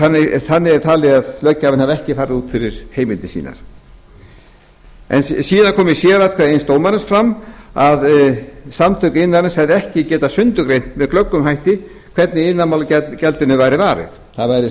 þannig er talið að löggjafinn hafi ekki farið út fyrir heimildir sínar síðan kom í sératkvæði eins dómarans fram að samtök iðnaðarins hefðu ekki getað sundurgreint með glöggum hætti hvernig iðnaðarmálagjaldinu væri varið það væri sem sagt